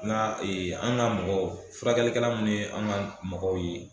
Nga ee an ga mɔgɔw furakɛlikɛla munnu ye an ga mɔgɔw ye